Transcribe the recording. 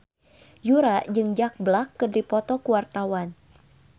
Yura jeung Jack Black keur dipoto ku wartawan